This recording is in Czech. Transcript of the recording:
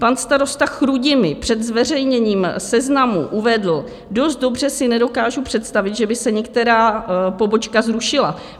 Pan starosta Chrudimi před zveřejněním seznamu uvedl: "Dost dobře si nedokážu představit, že by se některá pobočka zrušila.